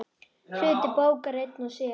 Hluti bókar einn og sér.